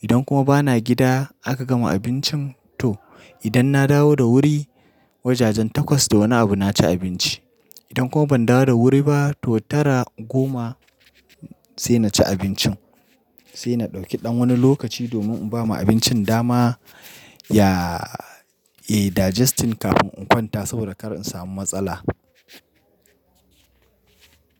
Idan kuma bana gida aka gama abincin to idan na dawo da wuri, wajajen takwas da wani abu na ci abinci. Idan kuma ban dawo da wuri ba to tara, goma sai na ci abincin. Sai na ɗauki ɗan wani lokaci domin in bama abincin dama ya, eh digesting kafin in kwanta saboda kar in samu matsala.